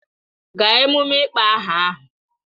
Gaa emume ịkpọ aha ahụ!